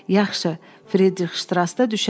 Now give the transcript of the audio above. Yaxşı, Fridrixştrasda düşərsən.